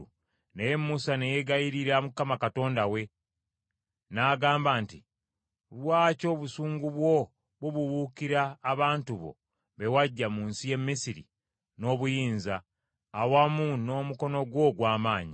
Naye Musa ne yeegayirira Mukama Katonda we, n’agamba nti, “Lwaki obusungu bwo bubuubuukira abantu bo be waggya mu nsi y’e Misiri n’obuyinza, awamu n’omukono gwo ogw’amaanyi?